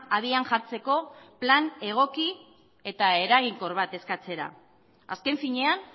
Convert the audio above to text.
abian jartzeko plan egoki eta eraginkor bat eskatzera azken finean